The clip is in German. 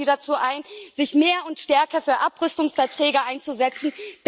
Wir laden Sie dazu ein, sich mehr und stärker für Abrüstungsverträge einzusetzen.